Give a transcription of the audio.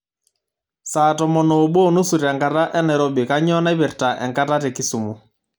saa tomon oobo onusu tenkata enairobi kainyio naipirta enkata tekisumu